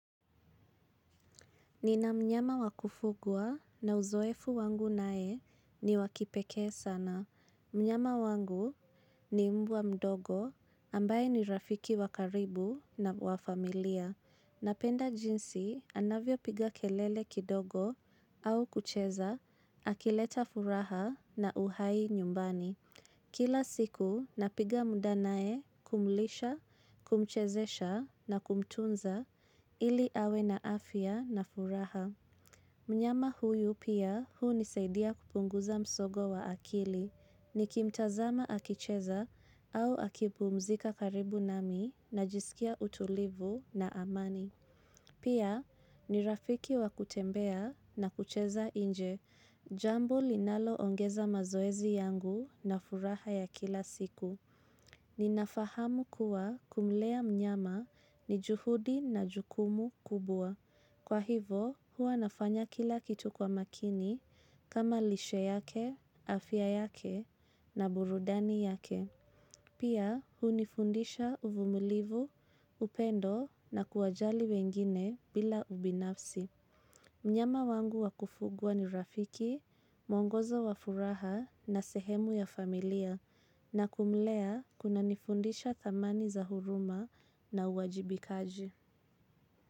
Nina mnyama wakufugwa na uzoefu wangu naye ni wakipekee sana. Mnyama wangu ni mbwa mdogo ambaye ni rafiki wakaribu na wafamilia. Napenda jinsi anavyo piga kelele kidogo au kucheza, akileta furaha na uhai nyumbani. Kila siku napiga muda naye kumlisha, kumchezesha na kumtunza ili awe na afya na furaha. Mnyama huyu pia hu nisaidia kupunguza msongo wa akili, nikimtazama akicheza au akipumzika karibu nami najiskia utulivu na amani. Pia ni rafiki wa kutembea na kucheza inje, jambo linalo ongeza mazoezi yangu na furaha ya kila siku. Ninafahamu kuwa kumlea mnyama ni juhudi na jukumu kubwa. Kwa hivo, huwa nafanya kila kitu kwa makini kama lishe yake, afya yake na burudani yake. Pia hunifundisha uvumulivu, upendo na kuwajali wengine bila ubinafsi. Mnyama wangu wakufugwa ni rafiki, mwongoza wafuraha na sehemu ya familia na kumlea kuna nifundisha dhamani za huruma na uwajibikaji.